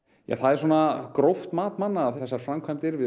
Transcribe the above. það er svona gróft mat manna að þessar framkvæmdir við